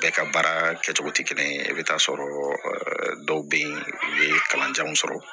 Bɛɛ ka baara kɛcogo tɛ kelen ye i bɛ t'a sɔrɔ dɔw bɛ yen u bɛ kalan jan mun sɔrɔ